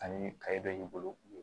Ani kaye bɛ bolo